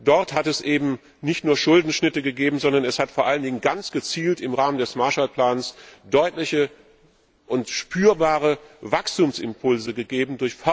Dort hat es eben nicht nur Schuldenschnitte gegeben, sondern es hat vor allen Dingen ganz gezielt durch Förderprogramme im Rahmen des Marshallplans deutliche und spürbare Wachstumsimpulse gegeben.